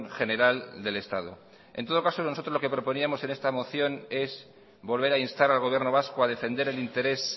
general del estado en todo caso nosotros lo que proponíamos en esta moción es volver a instar al gobierno vasco a defender el interés